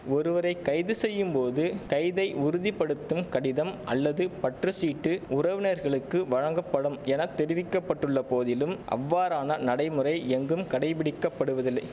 ஒருவரை கைது செய்யும் போது கைதை உறுதி படுத்தும் கடிதம் அல்லது பற்று சீட்டு உறவினர்களுக்கு வழங்கப்படும் என தெரிவிக்க பட்டுள்ள போதிலும் அவ்வாறான நடைமுறை எங்கும் கடைப்பிடிக்கப்படுவதில்லை